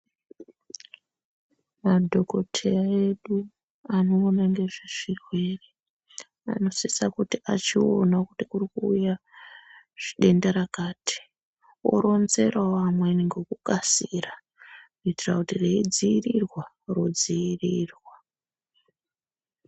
Antu kuteya yedu anoona ngezvezvirwere anosisa kuti achiono kuti kurikuuya denda rakati oronzerawo amweni ngekukasira kuitira kuti reidziirirwa rodziirirwa